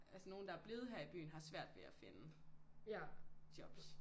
Altså nogen der er blevet her i byen har svært ved at finde jobs